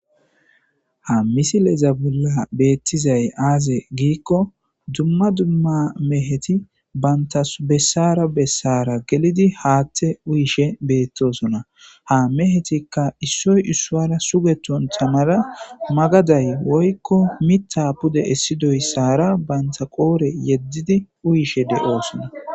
ha misilezabulla beettizay aaze giikko dumma dumma meheti baynta bessara bessara gelidi haatte uyishe beettosona ha mehetikka issoy issuara sugeton tamara magaday woykko mita pude essidoyssara banta qoore yeddidi uyishe de7oosona